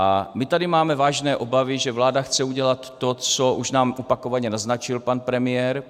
A my tady máme vážné obavy, že vláda chce udělat to, co už nám opakovaně naznačil pan premiér.